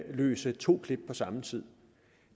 udløse to klip på samme tid